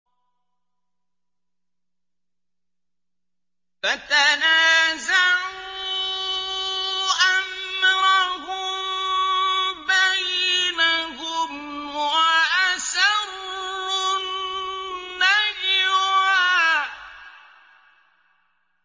فَتَنَازَعُوا أَمْرَهُم بَيْنَهُمْ وَأَسَرُّوا النَّجْوَىٰ